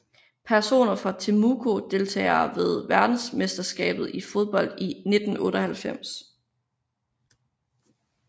Personer fra Temuco Deltagere ved verdensmesterskabet i fodbold 1998